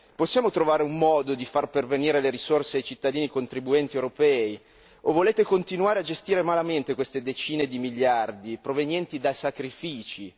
Possiamo trovare un modo di far pervenire le risorse ai cittadini contribuenti europei o volete continuare a gestire malamente queste decine di miliardi provenienti da sacrifici?